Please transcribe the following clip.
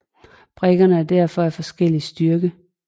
Brikkerne er derfor af forskellig styrke